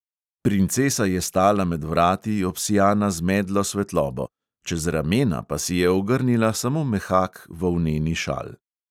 Princesa je stala med vrati, obsijana z medlo svetlobo, čez ramena pa si je ogrnila samo mehak volneni šal.